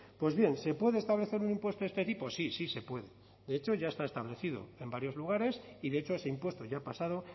pues bien se puede establecer un impuesto de este tipo sí sí se puede de hecho ya está establecido en varios lugares y de hecho ese impuesto ya ha pasado